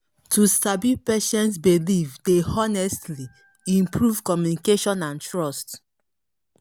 to sabi patients believe dey honestly improve communication and trust